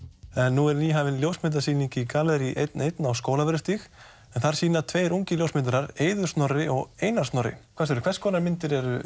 nú er nýhafin ljósmyndasýning í gallerí einn einn á Skólavörðustíg en þar sína tveir ungir ljósmyndarar Eiður Snorri og Einar Snorri hvað segirðu hvers konar myndir eru